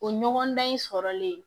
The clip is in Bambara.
O ɲɔgɔndan in sɔrɔlen